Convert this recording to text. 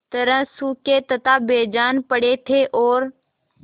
तरह सूखे तथा बेजान पड़े थे और